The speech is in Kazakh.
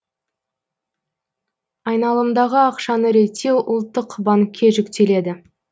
айналымдағы ақшаны реттеу ұлттық банкке жүктеледі